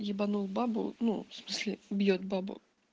ебанул бабу ну в смысле бьёт бабу